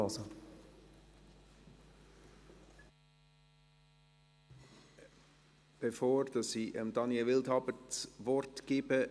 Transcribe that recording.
Eine kleine Bemerkung, bevor ich Daniel Wildhaber das Wort gebe: